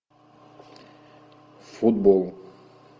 футбол